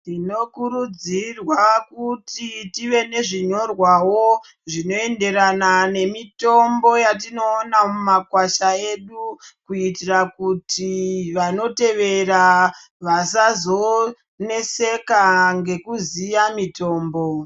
Tino kurudzirwa kuti tive nezvi nyorwawo zvino enderana nemitombo yatinoona mumakwasha edu kuitira kuti vanotevera vasazo neseka nekuziya mitombo.